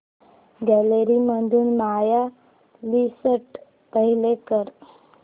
gallery मधून my list play कर